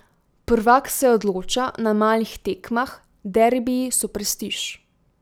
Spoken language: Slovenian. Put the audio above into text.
Prvak se odloča na malih tekmah, derbiji so prestiž.